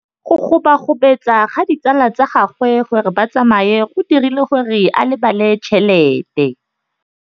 Go gobagobetsa ga ditsala tsa gagwe, gore ba tsamaye go dirile gore a lebale tšhelete.